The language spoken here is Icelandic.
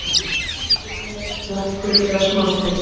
Júpíter: hnöttur eða smástirni?